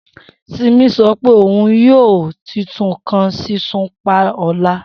Simi sọ pe oun yoo. uy titun kan sisun pan ọla